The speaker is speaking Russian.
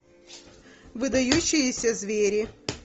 выдающиеся звери